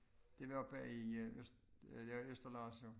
Det var oppe i øh øst ja Østerlars jo